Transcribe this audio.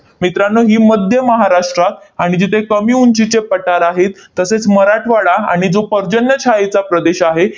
मित्रांनो, ही मध्य महाराष्ट्रात आणि जिथे कमी उंचीचे पठार आहेत, तसेच मराठवाडा आणि जो पर्जन्य छायेचा प्रदेश आहे,